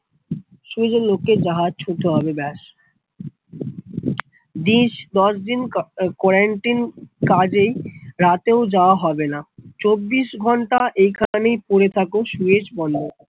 Suez এর লোক কে জাহাজ ছুঁতে হবে ব্যাস, দশ দিন কোরানটিন কাজে রাতে ও যাওয়া হবে না চব্বিশ ঘন্টা এ খানেই পড়ে থাকো সুয়েজ বন্দরে